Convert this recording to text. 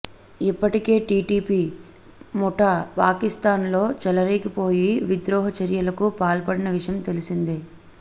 ఇప్పటికే టీటీపీ ముఠా పాకిస్థాన్ లో చెలరేగిపోయి విద్రోహ చర్యలకు పాల్పడిన విషయం తెలిసిందే